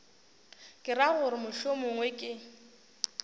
ke ra gore mohlomongwe ke